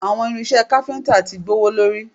Àwọn irinṣẹ́ káfíntà ti gbówólórí